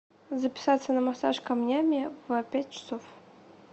записаться на массаж камнями в пять часов